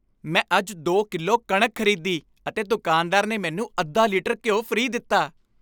ਮੈਂ ਅੱਜ ਦੋ ਕਿਲੋ ਕਣਕ ਖ਼ਰੀਦੀ ਅਤੇ ਦੁਕਾਨਦਾਰ ਨੇ ਮੈਨੂੰ ਅੱਧਾ ਲੀਟਰ ਘਿਓ ਫ੍ਰੀ ਦਿੱਤਾ